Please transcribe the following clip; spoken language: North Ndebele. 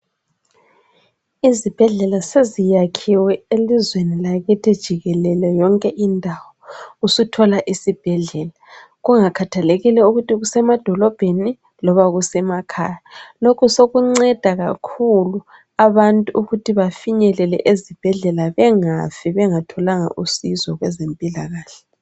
Izibhedlela seziyakhiwe elizweni lakithi jikelele yonke indawo. Usuthola isibhedlela kungakhathalekile ukuthi kusemadolobheni loba kusemakhaya. Lokhu sokunceda kakhulu abantu ukuthi bafinyelele ezibhedlela, bengafi bengatholanga usizo kwezempilakahle.